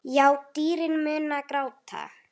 Já, dýrin munu gráta.